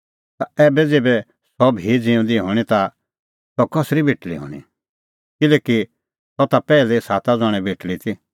ता ऐबै ज़ेभै सह भी ज़िऊंदी हणीं ता सह कसरी बेटल़ी हणीं किल्हैकि सह ता पैहलै साता ज़ण्हे बेटल़ी ती